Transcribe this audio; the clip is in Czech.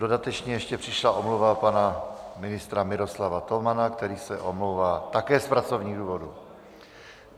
Dodatečně ještě přišla omluva pana ministra Miroslava Tomana, který se omlouvá také z pracovních důvodů.